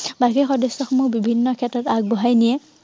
বাকী সদস্য়সমূহ বিভিন্ন ক্ষেত্ৰত আগবঢ়াই নিয়ে।